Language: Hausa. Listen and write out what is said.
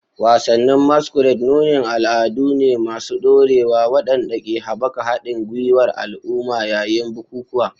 Wasannin masquerade nunin al'adu ne masu ɗorewa waɗanda ke haɓaka haɗin gwiwar al'umma yayin bukukuwa.